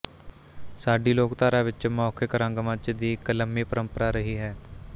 ਸਾਡੀ ਲੋਕਧਾਰਾ ਵਿੱਚ ਮੌਖਿਕ ਰੰਗਮੰਚ ਦੀ ਇੱਕ ਲੰਮੀ ਪਰੰਪਰਾ ਰਹੀ ਹੈ